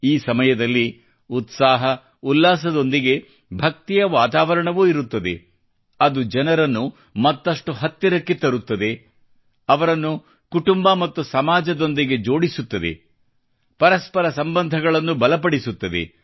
ಈ ಸಮಯದಲ್ಲಿ ಉತ್ಸಾಹ ಉಲ್ಲಾಸದೊಂದಿಗೆ ಭಕ್ತಿಯ ವಾತಾವರಣವೂ ಇರುತ್ತದೆ ಅದು ಜನರನ್ನು ಮತ್ತಷ್ಟು ಹತ್ತಿರಕ್ಕೆ ತರುತ್ತದೆ ಅವರನ್ನು ಕುಟುಂಬ ಮತ್ತು ಸಮಾಜದೊಂದಿಗೆ ಜೋಡಿಸುತ್ತದೆ ಪರಸ್ಪರ ಸಂಬಂಧಗಳನ್ನು ಬಲಪಡಿಸುತ್ತದೆ